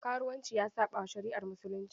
Karuwanci ya saɓawa shari'ar musulunci.